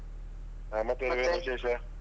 ಆಹ್ ಮತ್ತೆ ವಿಶೇಷ?